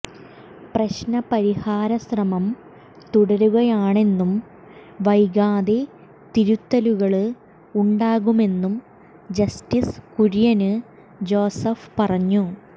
പ്രശ്നപരിഹാരശ്രമം തുടരുകയാണെന്നും വൈകാതെ തിരുത്തലുകള് ഉണ്ടാകുമെന്നും ജസ്റ്റിസ് കുര്യന് ജോസഫ് പറഞ്ഞു